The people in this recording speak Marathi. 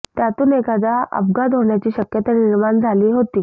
त्यातून एखादा अपघात होण्याची शक्यता निर्माण झाली होती